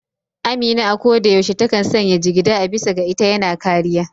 Amina a ko da yaushe ta kan sanya jigida, a bisa ga ita yana kariya.